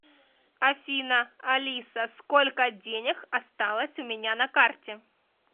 афина алиса сколько денег осталось у меня на карте